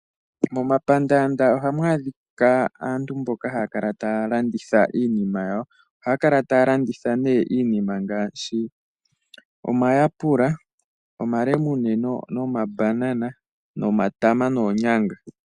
Momapandaanda ohamu adhika aantu mboka haya kala taya landitha iinima yayo. Ohaya kala taya landitha iinima ngaashi omayapela, omalemune, omabanana, omatama noonyanga.